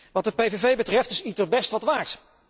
Wat de PVV betreft is ITER best wat waard.